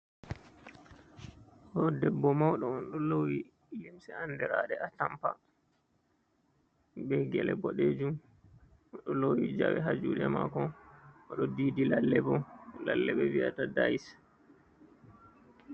Ɗo debbo mauɗo on ɗo lowi limse andirade a tampa" be gele boɗejum o ɗo lowi jawe ha juɗe mako, oɗo didi lalle bo lalle viyata dayis.